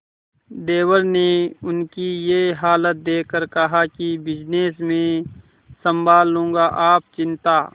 देवर ने उनकी ये हालत देखकर कहा कि बिजनेस मैं संभाल लूंगा आप चिंता